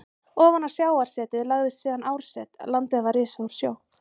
Ofan á sjávarsetið lagðist síðan árset, landið var risið úr sjó.